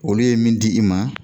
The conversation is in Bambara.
Olu ye min di i ma